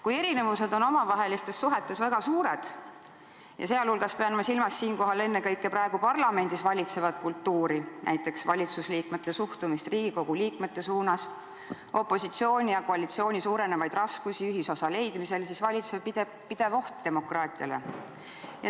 Kui erinevused on omavahelistes suhetes väga suured – siinjuures ma pean silmas ennekõike praegu parlamendis valitsevat kultuuri, näiteks valitsusliikmete suhtumist Riigikogu liikmetesse, opositsiooni ja koalitsiooni suurenevaid raskusi ühisosa leidmisel –, siis valitseb pidev oht demokraatiale.